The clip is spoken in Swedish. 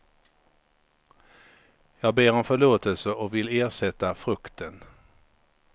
Jag ber om förlåtelse och vill ersätta frukten.